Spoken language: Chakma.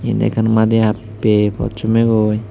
indi ekkan maadi happey pot sommeygoi.